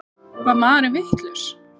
Var maðurinn vitlaus?